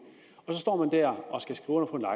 og så står vedkommende der og skal skrive under